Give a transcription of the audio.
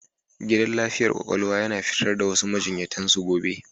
Gidan lafiyar kwakwalwa yana fitar da wasu majiyyatan su gobe.